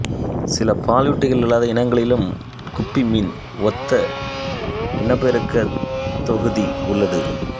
சில பாலூட்டிகளல்லாத இனங்களிலும் குப்பி மீன் ஒத்த இன்னப்பெருக்கத்தொகுதி உள்ளது